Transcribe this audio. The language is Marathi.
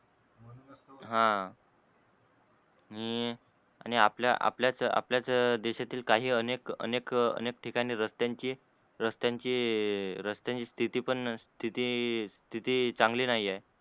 हा मी आणि आपल्याच आपल्याच आपल्याच देश्यातील काही अनेक अनेक अनेक ठिकाणी रस्त्यांची रस्त्यांची रस्त्यांची स्तिथी पण स्तिथी स्तिथी चांगली नाही आहे.